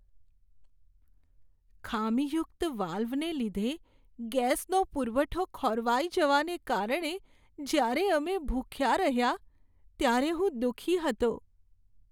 ખામીયુક્ત વાલ્વને લીધે ગેસનો પુરવઠો ખોરવાઈ જવાને કારણે જ્યારે અમે ભૂખ્યા રહ્યાં ત્યારે હું દુઃખી હતો.